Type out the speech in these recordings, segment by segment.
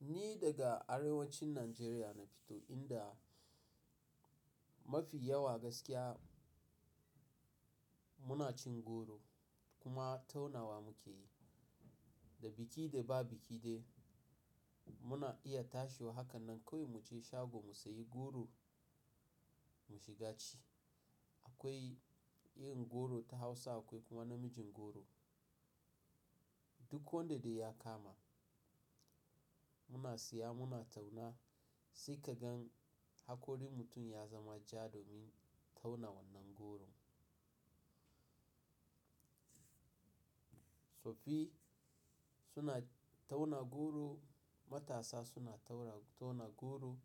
Ni daga arewacin Najeriya na fito inda mafi yawa gaskiya muna cin goro kuma taunawa muke yi. Da biki da ba biki dai muna iya tashewa haka nan kawai mu je shago mu sayi goro mu shiga ci. Akwai yin goro ta Hausa akwai kuma na mijin goro. Duk wanda dai ya kama muna siya muna tauna sai ka gan hakorin mutum ya zama ja domin taunawan nan goron. Tsoffi suna tauna goro, matasa suna tauna goro.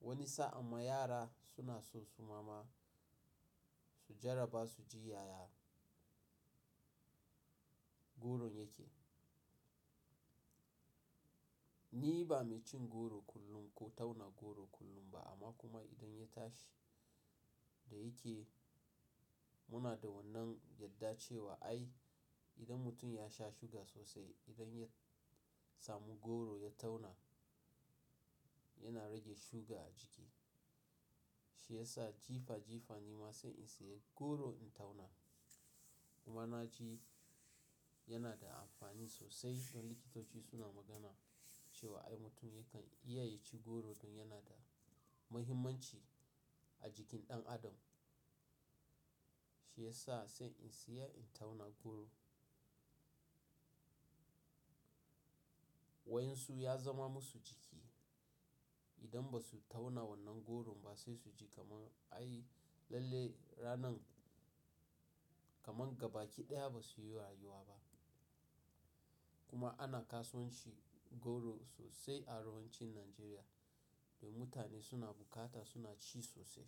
Wani sa'an ma yara suna sosu mama su jarraba su ji yaya goro yake. Ni ba mai cin goro kullum ko tauna goro kullum ba amma kuma idan ya tashi da yake muna da wannan yarda cewa ai idan mutum ya sha suga sosai, idan ya samu goro ya tauna yana rage suga a jiki. Shi yasa jifa jifa nima sai in siya goro in tauna. Kuma na ji yana da amfani sosai don likitoci suna magana cewa ai mutum yakan iya ya ci goro don yana da muhimmanci a jikin ɗan adam. Shi yasa sai in siya in tauna goro. Wayan su ya zama musu jiki. Idan ba su tauna wannan goron ba sai su ji kamar ai lalle ranan kamar gabaki ɗaya ba su yi rayuwa ba. Kuma ana kasuwanci goro sosai a arewacin Najeriya da mutane suna bukata suna ci sosai.